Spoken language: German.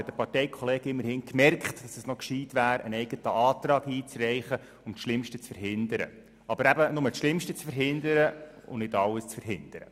Dieses Mal hat ein Parteikollege von ihm immerhin gemerkt, dass es gescheit wäre, eine eigene Planungserklärung einzureichen, um das Schlimmste zu verhindern – aber eben, nur um das Schlimmste, aber nicht alles zu verhindern.